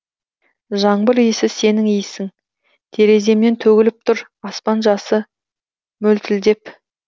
жаңбыр иісі сенің иісің тереземнен төгіліп тұр аспан жасы мөлтілдеп